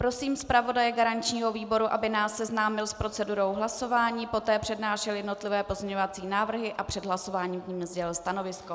Prosím zpravodaje garančního výboru, aby nás seznámil s procedurou hlasování, poté přednášel jednotlivé pozměňovací návrhy a před hlasováním k nim sdělil stanovisko.